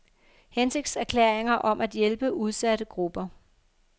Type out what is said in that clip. Hensigtserklæringer om at hjælpe udsatte grupper.